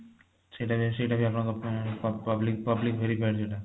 ସେଇଟା ବି ସେଇଟା ବି ଆପଣଙ୍କର public public verify ଯୋଊଟା